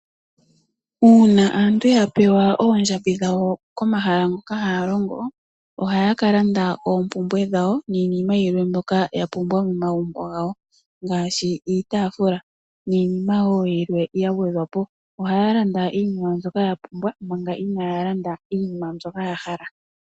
Uuna aantu yapewa oondjambi dhawo komahala hoka hayalongo ohaya ka landa oompumbwe dhawo niinima yilwe mbyoka yapumbwa momagumbu gawo ngaashi iitaafula niinimawo yilwe yangwedhwapo, ohaya landa iinima mbyoka yapumbwa manga inaayalanda iinima ndjoka yahala.